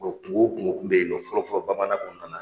Kungo o kungo tun bɛ yen nɔ fɔlɔ-fɔlɔ bamanan kɔnɔna na